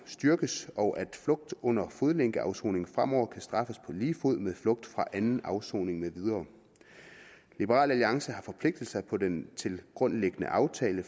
styrkes og at flugt under fodlænkeafsoningen fremover kan straffes på lige fod med flugt fra anden afsoning med videre liberal alliance har forpligtet sig på den tilgrundliggende aftale